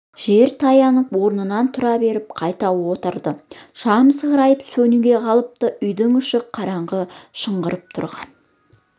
жер таянып орнынан тұра беріп қайта отырды шам сығырайып сөнуге қалыпты үйдің іші қараңғы шыңғырып тұрған